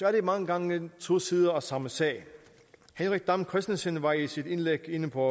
er det mange gange to sider af samme sag henrik dam kristensen var i sit indlæg inde på